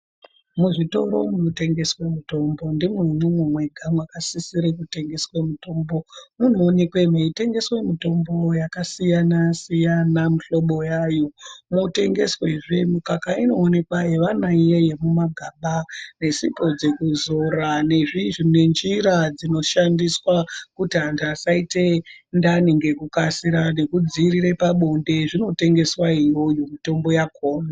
Muzvitoro munotengeswe mitombo ndimwo munonga mwega mwakasisira kutengeswe mitombo munoonekwe mweitengeswe mitombo yakasiyanasiyana mihlobo yayo mwotengeswezve mikaka inoonekwa yevana iya yemumagaba nesipo dzekuzora nezviizvi nenjira dzinoshandiswa kuti anhu asaita dhani ngekukasira nekudziirire pabonde zvinotengeswa iyoyo mitombo yakona.